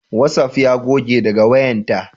Watsaf ya goge daga wayanta